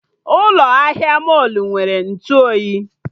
Ụlọ ahịa mọlụ nwere Ntụ oyi